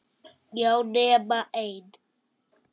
Já, nema ein.